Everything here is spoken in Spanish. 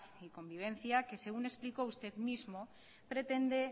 y convivencia que según explicó usted mismo pretende